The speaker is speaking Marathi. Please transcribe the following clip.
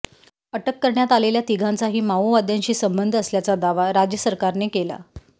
अटक करण्यात आलेल्या तिघांचाही माओवाद्यांशी संबंध असल्याचा दावा राज्यसरकारने केला